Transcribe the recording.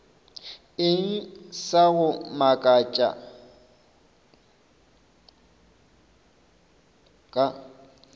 eng sa go makatša ka